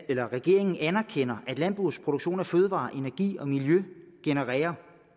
at regeringen anerkender at landbrugets produktion af fødevarer energi og miljø genererer